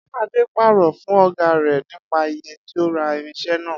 Adé paró̩ fún ò̩gá rè̩ nípa iye tó ra irins̩e̩ náà